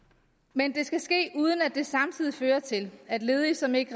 men det skal ske uden at det samtidig fører til at ledige som ikke